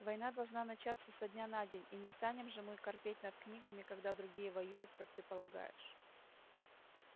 война должна начаться со дня на день и не станем же мы корпеть над книгами когда другие воюют как ты полагаешь